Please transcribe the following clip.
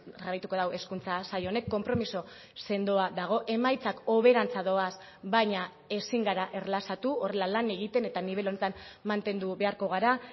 jarraituko du hezkuntza sail honek konpromiso sendoa dago emaitzak hoberantza doaz baina ezin gara erlaxatu horrela lan egiten eta nibel honetan mantendu beharko gara